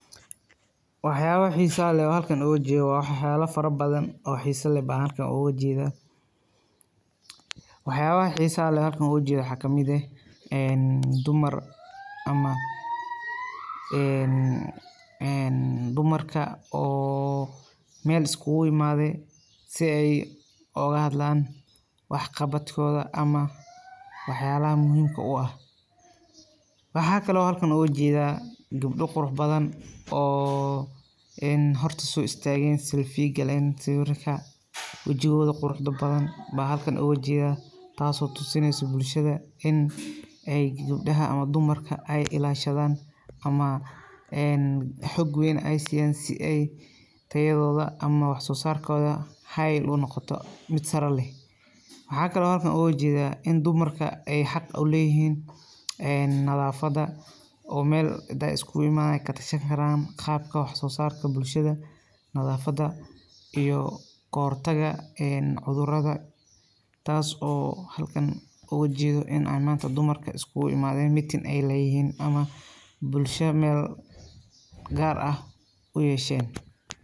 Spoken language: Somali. Wax yaabaha xiisaha leh oo aan halkan ooga jeedo, wax yaabo fara badan oo xiisa leh baan halkan ooga jeeda, waxaa kamid ah dumar ama dumarka oo meel iskugu imaade si aay ooga hadlaan wax qabad kooda ama wax yaabaha muhiimka u ah, waxaa kale oo aan halkan ooga jeeda gabdho qurux badan oo horta soo ustaagen sawiirka wajigooda quruxda badan baan halkan ooga jeeda taas oo tusineyso bulshada in gabdaha ama dumarka aay ilaashadaan ama xog weyn aay siiyan si aay tayadooda ama wax soo saarkooda aay unoqoto mid sare leh, waxaa kale oo aan halkan ooga jeeda in dumarka aay xaq uleeyihiin nadafada oo meel hadaay iskugu imaadan aay katashan karaan qabka wax soo saarka bulshada, nadafada iyo kahor taga cudurada, taas oo halkan ooga jeedo inaay maanta iskugu imaden gaar ah uyeshen.